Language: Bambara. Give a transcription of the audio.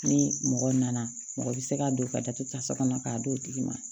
Ni mɔgɔ nana mɔgɔ bɛ se ka don ka datugu tasa kɔnɔ k'a d'o tigi ma